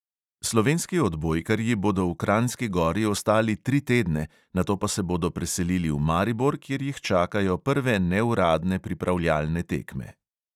Slovenski odbojkarji bodo v kranjski gori ostali tri tedne, nato pa se bodo preselili v maribor, kjer jih čakajo prve neuradne pripravljalne tekme.